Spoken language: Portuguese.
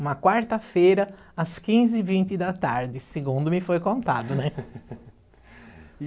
Uma quarta-feira, às quinze e vinte da tarde, segundo me foi contado, né?